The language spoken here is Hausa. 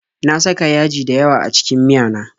Na saka yaji dayawa a cikin miyana